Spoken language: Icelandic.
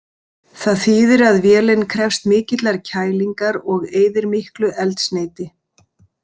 Það þýðir að vélin krefst mikillar kælingar og eyðir miklu eldsneyti.